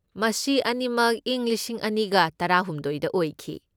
ꯃꯁꯤ ꯑꯅꯤꯃꯛ ꯏꯪ ꯂꯤꯁꯤꯡ ꯑꯅꯤꯒ ꯇꯔꯥꯍꯨꯝꯗꯣꯢꯗ ꯑꯣꯏꯈꯤ꯫